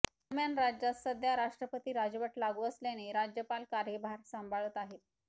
दरम्यान राज्यात सध्या राष्ट्रपती राजवट लागू असल्याने राज्यपाल कार्यभार सांभाळत आहेत